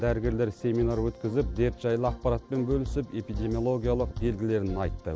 дәрігерлер семинар өткізіп дерт жайлы ақпаратпен бөлісіп эпидемиологиялық белгілерін айтты